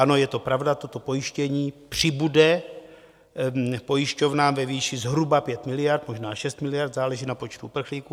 Ano, je to pravda, toto pojištění přibude pojišťovnám ve výši zhruba 5 miliard, možná 6 miliard, záleží na počtu uprchlíků.